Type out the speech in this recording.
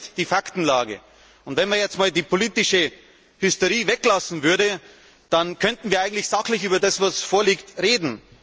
Das ist die Faktenlage. Wenn man jetzt einmal die politische Hysterie weglassen würde, dann könnten wir eigentlich sachlich über das, was vorliegt, reden.